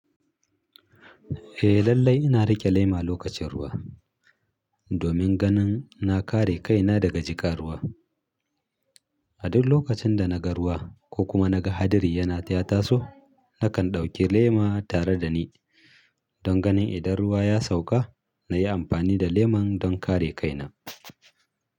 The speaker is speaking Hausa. Eh lallai ina rike lema lokacin ruwa, domin ganin na kare kaina daga jika ruwa. A duk lokacin da naga ruwa ko kuma naga hadiri yana ta taso, nakan ɗauki lema tare da ni don ganin idan ruwa ya sauka, na yi amfani da leman don kare kaina.